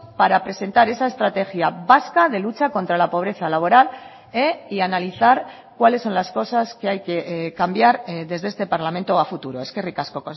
para presentar esa estrategia vasca de lucha contra la pobreza laboral y analizar cuáles son las cosas que hay que cambiar desde este parlamento a futuro eskerrik asko